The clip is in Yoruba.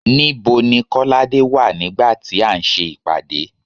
Nibo ni kolade wà nígbà tí a ń ṣe ìpàdé